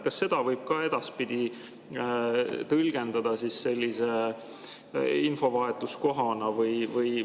Kas seda võib ka edaspidi tõlgendada sellise infovahetuskohana?